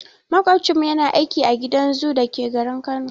Maƙocinmu yana aiki a gidan zoo dake garin Kano.